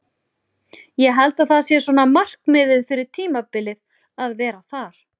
Ég held að það sé svona markmiðið fyrir tímabilið að vera þar.